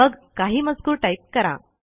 मग काही मजकूर टाईप करा